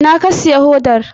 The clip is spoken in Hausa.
Ina ka siya hodar?